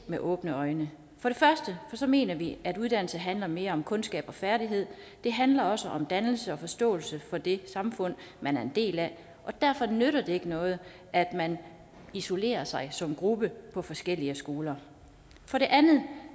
med åbne øjne for det første mener vi at uddannelse handler om mere end kundskaber og færdigheder det handler også om dannelse og forståelse for det samfund man er en del af og derfor nytter det ikke noget at man isolerer sig som gruppe på forskellige skoler for det andet